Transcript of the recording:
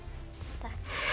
takk